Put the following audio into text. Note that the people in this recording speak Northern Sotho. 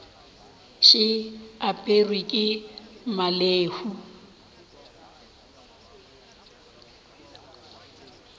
še e aperwe ke mmalehu